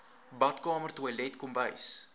badkamer toilet kombuis